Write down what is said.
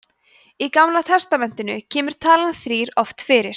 í gamla testamentinu kemur talan þrír oft fyrir